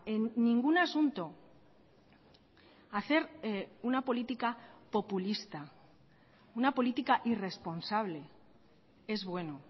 en ningún asunto hacer una política populista una política irresponsable es bueno